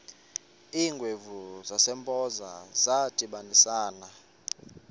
iingwevu zasempoza zadibanisana